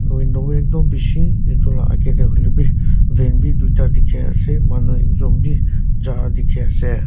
window ekdum bishi etu laga aage teh hoiley be van be du ta dikhi ase manu ekjon be char dikhi ase.